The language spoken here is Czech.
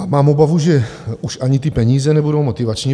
Mám obavu, že už ani ty peníze nebudou motivační.